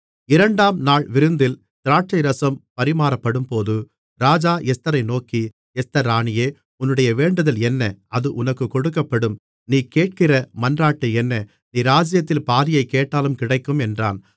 இரண்டாம் நாள் விருந்தில் திராட்சைரசம் பரிமாறப்படும்போது ராஜா எஸ்தரை நோக்கி எஸ்தர் ராணியே உன்னுடைய வேண்டுதல் என்ன அது உனக்குக் கொடுக்கப்படும் நீ கேட்கிற மன்றாட்டு என்ன நீ ராஜ்ஜியத்தில் பாதியைக் கேட்டாலும் கிடைக்கும் என்றான்